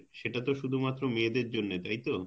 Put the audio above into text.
সেটা তো শুধু মাত্র মেয়েদের জন্যে তাইতো?